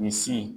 Misi